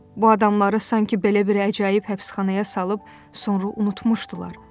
Bu adamları sanki belə bir əcaib həbsxanaya salıb sonra unutmuşdular.